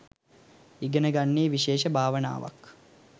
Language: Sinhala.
ඉගෙන ගන්නේ විශේෂ භාවනාවක්.